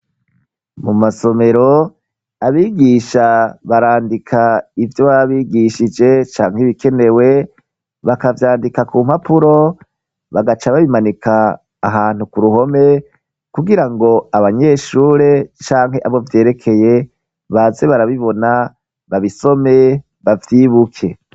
Mu masomero abigisha barandika ivyo babigishije canke ibikenewe bakavyandika ku mpapuro bagaca babimanika ahantu ku ruhome kugira ngo abanyeshure canke abo vyerekeye baze barabibona babisome bavyibuke.